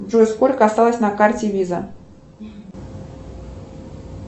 джой сколько осталось на карте виза